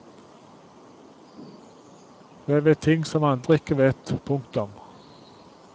Jeg vet ting som andre ikke vet. punktum